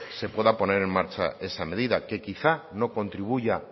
se pueda poner en marcha esa medida que quizá no contribuya